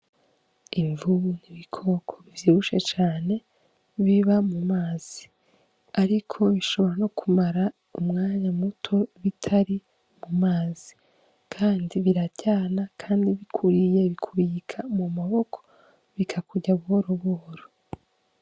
Imvubu n'ibikoko bivyibushe cane biba mu mazi, ariko bishobora no kumara umwanya muto bitari mu mazi, kandi biraryana, kandi bikuriye bikubika mu maboko bikakurya buhoro buhoro.